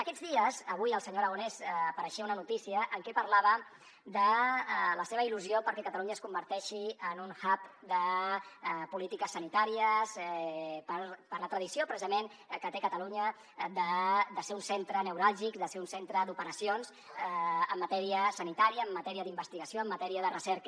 aquests dies avui el senyor aragonès apareixia a una notícia en què parlava de la seva il·lusió perquè catalunya es converteixi en un hubper la tradició precisament que té catalunya de ser un centre neuràlgic de ser un centre d’operacions en matèria sanitària en matèria d’investigació en matèria de recerca